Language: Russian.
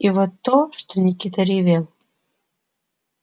и вот то что никита ревел